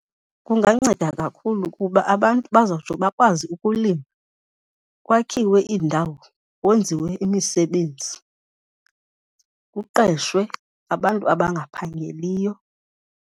Kunganceda kakhulu kuba abantu bazotsho bakwazi ukulima, kwakhiwe iindawo, kwenziwe imisebenzi, kuqeshwe abantu abangaphangeliyo.